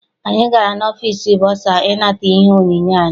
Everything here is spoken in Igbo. Anyị gara n'ọfịịsi bọsa I nata ihe onyinye anyị.